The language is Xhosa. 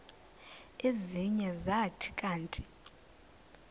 ezinye zathi kanti